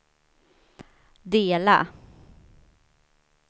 dela